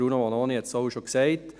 Bruno Vanoni hat es bereits gesagt: